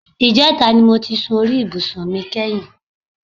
Ìjẹta ni mo ti sun orí ibùsùn mi kẹ́yìn